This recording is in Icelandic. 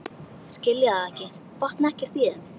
Skilja þá ekki, botna ekkert í þeim.